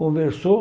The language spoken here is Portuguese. Conversou,